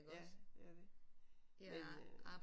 Ja det er det men øh